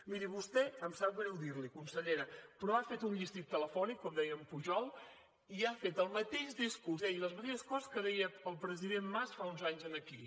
miri vostè em sap greu dir l’hi consellera però ha fet un llistín telefònic com deia pujol i ha fet el mateix discurs i ha dit les mateixes coses que deia el president mas fa uns anys aquí